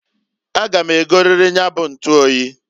A ga m egoririri nya bu ntuoyi.